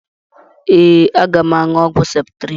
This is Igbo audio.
Ee, aga m aṅụ ọgwụ septrịn